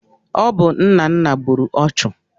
Ọ bụ Nnanna gburu ọchụ.